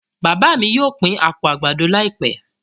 Bàbà mí yóò pin apó àgbàdo laipẹ